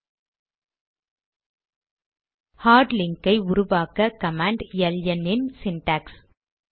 001252 001156 hard link ஐ உருவாக்க command L N இன் சிண்டாக்ஸ்